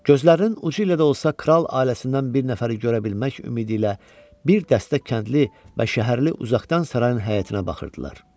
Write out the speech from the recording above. Gözlərinin ucu ilə də olsa kral ailəsindən bir nəfəri görə bilmək ümidi ilə bir dəstə kəndli və şəhərli uzaqdan sarayın həyətinə baxırdılar.